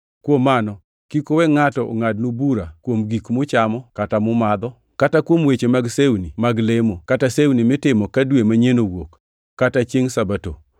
Kuom mano, kik uwe ngʼato ongʼadnu bura kuom gik muchamo kata mumadho, kata kuom weche mag sewni mag lemo, kata sewni mitimo ka dwe manyien owuok, kata chiengʼ Sabato.